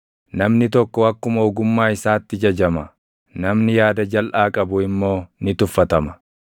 Namni tokko akkuma ogummaa isaatti jajama; namni yaada jalʼaa qabu immoo ni tuffatama.